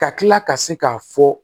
Ka kila ka se k'a fɔ